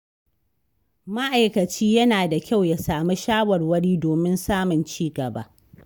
Ma'aikaci yana da kyau ya samu shawarwari domin samun ci gaba.